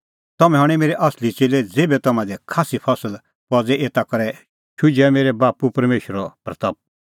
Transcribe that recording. तम्हैं हणैं मेरै असली च़ेल्लै ज़ेभै तम्हां दी खास्सी फसल पज़े एता करै हआ मेरै बाप्पू परमेशरे महिमां